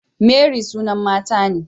Mary sunan mata ne